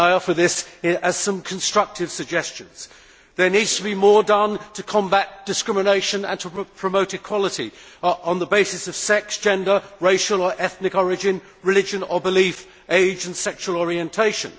I will offer some constructive suggestions. There needs to be more done to combat discrimination and to promote equality on the base of sex, gender, racial or ethnic origin, religion or belief, age and sexual orientation.